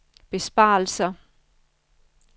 besparelser